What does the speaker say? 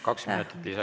Kaks minutit lisaks.